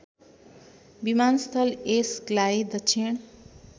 विमानस्थल यसलाई दक्षिण